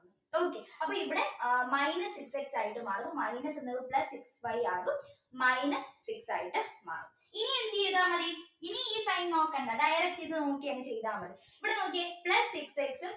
okay അപ്പോ ഇവിടെ അഹ് minus minus എന്നുള്ളത് plus x y ആവും minus six ആയിട്ട് മാറും ഇനി എന്ത് ചെയ്താ മതി ഇനി ഈ sign നോക്കണ്ട direct ഇത് നോക്കിയങ്ങ് ചെയ്താ മതി ഇവിടെ നോക്കിയേ plus six x